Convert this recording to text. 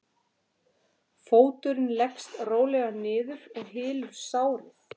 Fóturinn leggst rólega niður og hylur sárið.